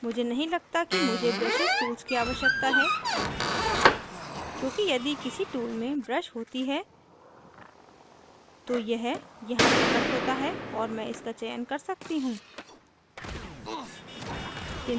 मुझे नहीं लगता कि मुझे brushes tool की आवश्यकता है क्योंकि यदि किसी tool में brush होती है तो यह यहाँ प्रकट होता है और मैं इसका चयन कर सकती हूँ